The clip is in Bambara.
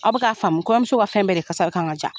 Aw bi ka faamu kɔɲɔmuso ka fɛn bɛɛ de kasa kan ka ja.